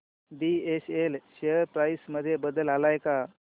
BSL share price मध्ये बदल आलाय का